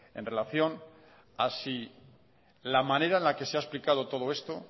en relación a si la manera en la que se ha explicado todo esto